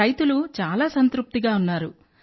రైతులు చాలా సంతృప్తిగా ఉన్నారు